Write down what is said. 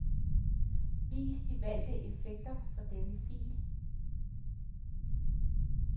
Vis de valgte effekter for denne fil.